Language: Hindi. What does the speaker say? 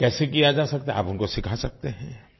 कैसे किया जा सकता है आप उनको सिखा सकते हैं